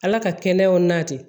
Ala ka kɛnɛyaw nati